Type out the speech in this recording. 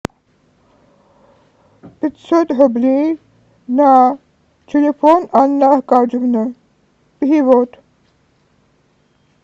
пятьсот рублей на телефон анны аркадьевны перевод